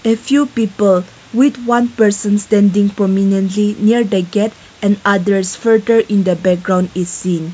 a few people with one person then the permanently near the gate and others in the background is seen.